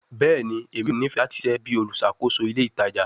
Bẹẹni, Emi yoo nifẹ lati ṣiṣẹ bi oluṣakoso ile itaja